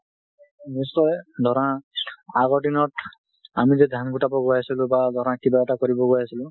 নিশ্চয়। ধৰা আগৰ দিনত আমি যে ধান গোতাব গৈ আছিলোঁ বা ধৰা কিবা এটা কৰিব গৈ আছিলোঁ,